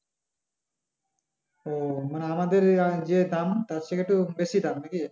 ও মানে আমাদের যে দাম তার থেকে একটু বেশি দাম নাকি?